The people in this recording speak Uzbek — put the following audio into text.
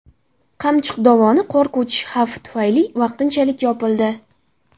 Qamchiq dovoni qor ko‘chishi xavfi tufayli vaqtinchalik yopildi.